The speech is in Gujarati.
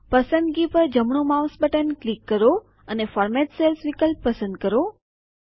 પસંદગી પર જમણું માઉસ બટન ક્લિક કરો અને ફોર્મેટ સેલ્સ વિકલ્પ પસંદ કરો